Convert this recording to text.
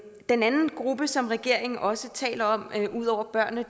den anden gruppe som regeringen også taler om ud over børnene